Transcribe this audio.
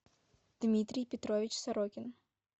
дмитрий петрович сорокин